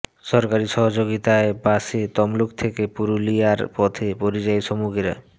সরকারি সহযোগিতায় বাসে তমলুক থেকে পুরুলিয়ার পথে পরিযায়ী শ্রমিকেরা